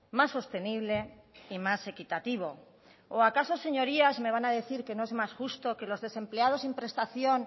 más sostenible y más equitativo o acaso señorías me van a decir que no es más justo que los desempleados sin prestación